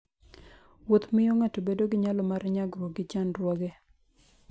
Wuotho miyo ng'ato bedo gi nyalo mar nyagruok gi chandruoge.